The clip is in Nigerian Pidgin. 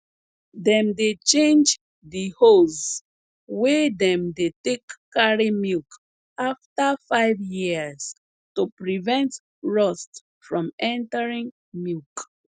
dem dey change de hose wey dem dey take carry milk afta five years to prevent rust from entering milk